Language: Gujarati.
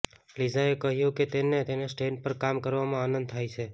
લિઝાએ કહ્યું કે તેને તેના સ્ટેન્ડ પર કામ કરવામાં આનંદ થાય છે